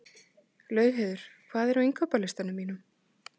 Laugheiður, hvað er á innkaupalistanum mínum?